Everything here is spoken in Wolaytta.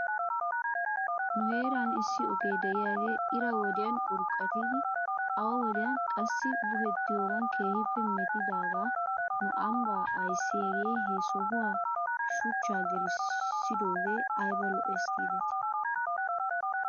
Nu heeran issi oge de'iyaagee ira wodiyan urqqatidi awa wodiyan qassi buhettiyoogan keehippe metidaagaa nu ambbaa ayssiyaagee he sohuwan shuchchaa gelissidoogee ayba lo'es giidetii?